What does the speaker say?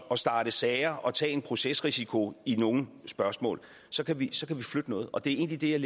at starte sager og tage en procesrisiko i nogle spørgsmål så kan vi flytte noget og det er egentlig det jeg